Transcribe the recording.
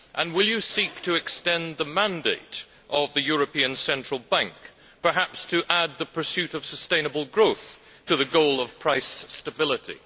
Will he seek to extend the mandate of the European Central Bank, perhaps to add the pursuit of sustainable growth to the goal of price stability?